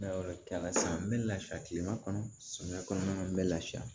n bɛ lafiya kilema kɔnɔ samiya kɔnɔna na n bɛ lafiya